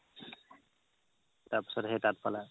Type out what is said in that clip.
তাৰ পিছত সেই তাত পালা